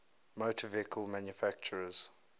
motor vehicle manufacturers